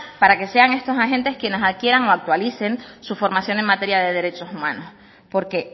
para que sean estos agentes quienes adquieran o actualicen su formación en materia de derechos humanos porque